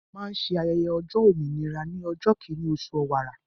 A máa ń ṣe ayẹyẹ ọjọ́ òmìnira ní ọjọ́ kíní oṣù ọ̀wàrà